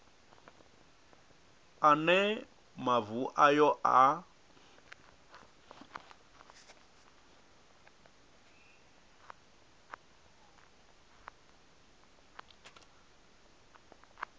a ne mavu ayo a